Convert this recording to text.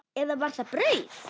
Eða var það brauð?